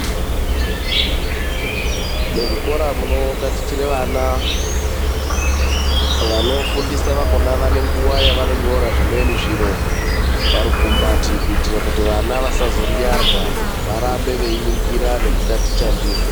Muzvikora munotatichire vana vanofundisa vakona vane nguva yavanotora zvimweni zviro parukumbati. Kuitire kuti vana vasazo yirarwa varambe veingingira nekutaticha ndizvo.